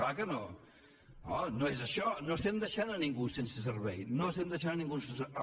clar que no oh no és això no estem deixant ningú sense servei no estem deixant ningú sense servei